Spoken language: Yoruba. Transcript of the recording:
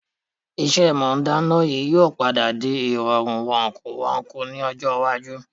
Ìṣe mọ dáná yìí ó padà di ìrọ̀rùn wọ̀kùwọku ni ọjọ́ iwájú.